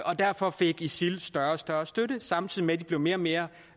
og derfor fik isil større og større støtte samtidig med at de blev mere og mere